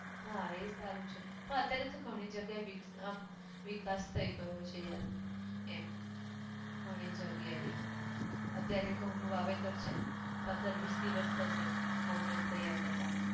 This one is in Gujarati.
હા એ સારું છે, હા અત્યારે તો ઘણી જગ્યા એ વિસ અમ વિકાસ થઇ ગયો છે યાર, એમ. ઘણી જગ્યા એ, અત્યારે ઘઉં નું વાવેતર છે, પંદર વિસ દિવસ થશે, ઘઉં ને તૈયાર થતા.